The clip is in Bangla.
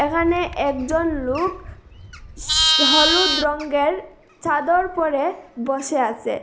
এখানে একজন লুক সস হলুদ রংগের চাদর পরে বসে আসে।